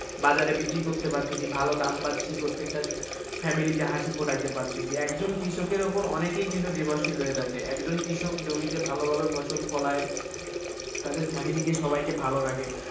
বাজারে বিক্রি করতে পারতেছি ভালো দাম পাচ্ছি, প্রত্যেকটা family তে হাসি ফোটাইতে পারতেছি একজন কৃষকের উপর অনেকেই কিন্তু দেবাশীল হয়ে থাকে, একজন কৃষক জমিতে ভালোভাবে ফসল ফলায় তাদের family কে সবাইকে ভালো রাখে,